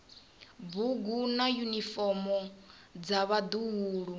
bugu na yunifomo dza vhaḓuhulu